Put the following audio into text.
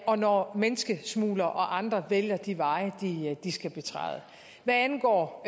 og når menneskesmuglere og andre vælger de veje de skal betræde hvad angår